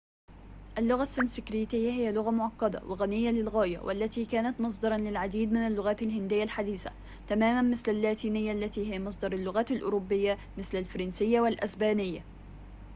اللغة السنسكريتية هي لغة معقدة وغنية للغاية والتي كانت مصدراً للعديد من اللغات الهندية الحديثة تماماً مثل اللاتينية التي هي مصدر اللغات الأوروبية مثل الفرنسية والإسبانية